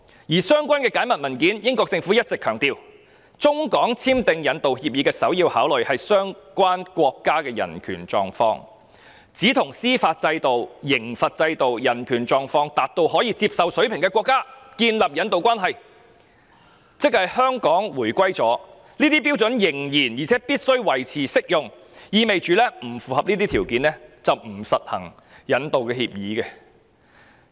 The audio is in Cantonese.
在相關的解密文件中，英國政府一直強調，中港簽訂引渡協議的首要考慮是相關國家的人權狀況，並只能與司法制度、刑罰制度、人權狀況達到可接受水平的國家建立引渡關係，而且即使香港已回歸，這些標準仍然且必須維持適用，意味若不符合這些條件，不可實行引渡協議。